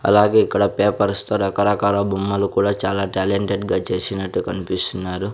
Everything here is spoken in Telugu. అలాగే ఇక్కడ పేపర్స్ తో రకరకాల బొమ్మలు కూడా చాలా టాలెంటెడ్ గా చేసినట్టు కన్పిస్తున్నారు.